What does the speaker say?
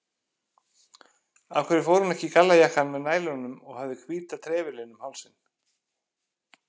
Af hverju fór hún ekki í gallajakkann með nælunum og hafði hvíta trefilinn um hálsinn?